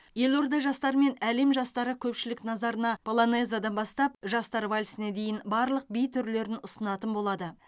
елорда жастары мен әлем жастары көпшілік назарына полонезадан бастап жастар вальсіне дейін барлық би түрлерін ұсынатын болады